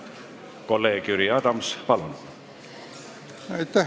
Kolleeg Jüri Adams, palun!